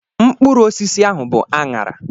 Mkpụrụ osisi ahụ bụ anara.